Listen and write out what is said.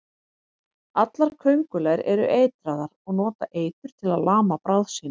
Allar köngulær eru eitraðar og nota eitur til að lama bráð sína.